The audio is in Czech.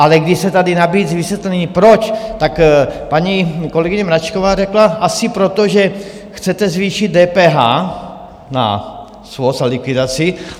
Ale když se tady nabízí vysvětlení, proč, tak paní kolegyně Mračková řekla: asi proto, že chcete zvýšit DPH na svoz a likvidaci.